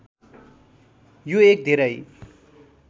यो एक धेरै